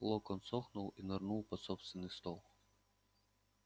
локонс охнул и нырнул под собственный стол